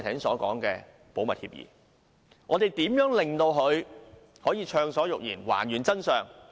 我們如何令他可以暢所欲言、還原真相？